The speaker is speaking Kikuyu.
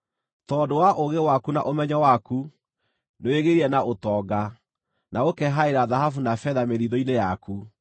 Tondũ wa ũũgĩ waku na ũmenyo waku, nĩwĩgĩĩrĩire na ũtonga, na ũkehaĩra thahabu na betha mĩthiithũ-inĩ yaku.